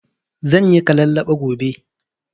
Zanyi kalallaɓa gobe